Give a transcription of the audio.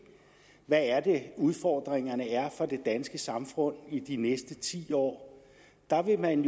hvad udfordringerne er for det danske samfund i de næste ti år der vil man